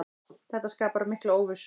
Þetta skapar mikla óvissu.